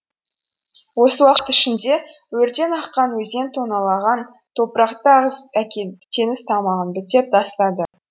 осы уақыт ішінде өрден аққан өзен тонналаған топырақты ағызып әкеліп теңіз тамағын бітеп тастады